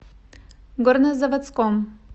горнозаводском